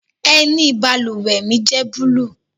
Ẹni i bálúwẹ̀ mi jẹ̀ búlúù.